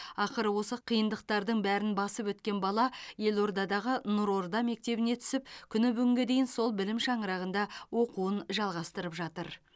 ақыры осы қиындықтардың бәрін басып өткен бала елордадағы нұр орда мектебіне түсіп күні бүгінге дейін сол білім шаңырағында оқуын жалғастырып жатыр